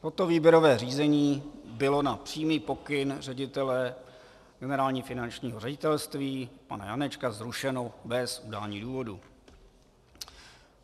Toto výběrové řízení bylo na přímý pokyn ředitele Generálního finančního ředitelství pana Janečka zrušeno bez udání důvodu.